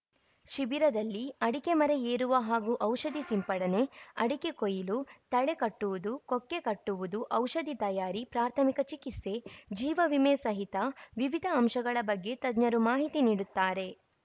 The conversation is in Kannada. ಶಿಬಿರದಲ್ಲಿ ಅಡಿಕೆ ಮರ ಏರುವ ಹಾಗೂ ಔಷಧಿ ಸಿಂಪಡಣೆ ಅಡಿಕೆ ಕೊಯಿಲು ತಳೆ ಕಟ್ಟುವುದು ಕೊಕ್ಕೆ ಕಟ್ಟುವುದು ಔಷಧಿ ತಯಾರಿ ಪ್ರಾಥಮಿಕ ಚಿಕಿತ್ಸೆ ಜೀವವಿಮೆ ಸಹಿತ ವಿವಿಧ ಅಂಶಗಳ ಬಗ್ಗೆ ತಜ್ಞರು ಮಾಹಿತಿ ನೀಡುತ್ತಾರೆ